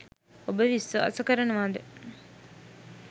ඔබ විශ්වාස කරනවද?